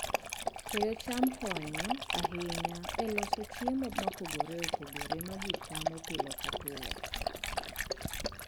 Keyo cham konyo ahinya e loso chiemo mopogore opogore ma ji chamo pile ka pile.